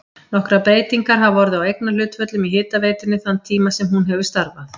Nokkrar breytingar hafa orðið á eignarhlutföllum í hitaveitunni þann tíma sem hún hefur starfað.